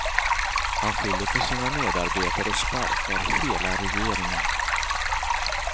Han skyller på sina medarbetare och sparkar hela regeringen.